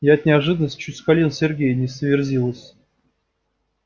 я от неожиданности чуть с колен сергея не сверзилась